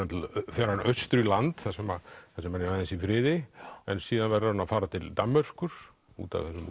fer hann austur í land þar sem hann er aðeins í friði en síðan verður hann að fara til Danmerkur út af þessum